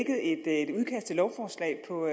jeg til lovforslag på